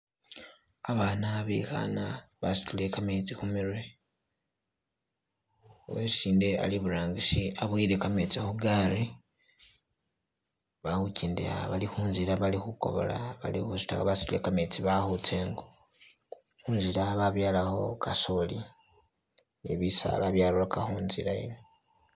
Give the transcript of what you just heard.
Abaana bekhana basutile kametsi khumirwe, uwesindi ali iburangisi aboyele kametsi khugaali balikhukendela, bali kunzila bali khukobola basutile kametsi bali khutsa ingo , khunzila babyalakho kasooli ne bisaala byarurakakho kasooli ne bisaala byarurakakho khunzila.